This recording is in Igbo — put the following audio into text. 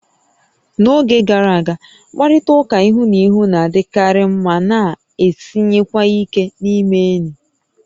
N'oge gara aga, mkparịta ụka ihu na ihu na-adịkarị ma na-esiwanye ike n'ịme enyi